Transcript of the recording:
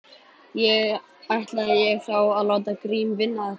Ætlaði ég þá að láta Grím vinna þetta.